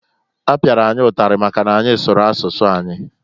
Apiara anyị ụtalị maka n'anyị sụrụ asụsụ anyị.